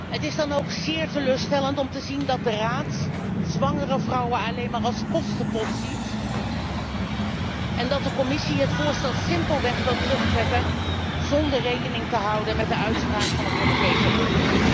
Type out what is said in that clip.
Het is dan ook zeer teleurstellend om te zien dat de Raad zwangere vrouwen alleen maar als kostenpost ziet en dat de Commissie het voorstel simpelweg wil terugtrekken zonder rekening te houden met de uitspraak van het Europese Hof.